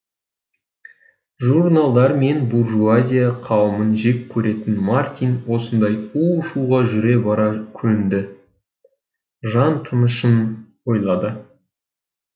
журналдар мен буржуазия қауымын жек көретін мартин осындай у шуға жүре бара көнді жан тынышын ойлады